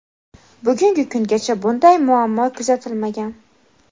bugungi kungacha bunday muammo kuzatilmagan.